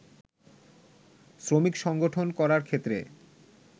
শ্রমিক সংগঠন করার ক্ষেত্রে